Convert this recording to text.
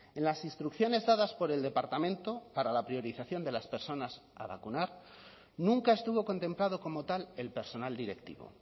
en las instrucciones dadas por el departamento para la priorización de las personas a vacunar nunca estuvo contemplado como tal el personal directivo